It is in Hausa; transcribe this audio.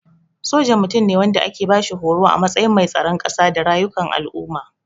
Soja Mutum ne wanda ake bashi horo a matsayin mai tsaron kasa da rayukan al'umma.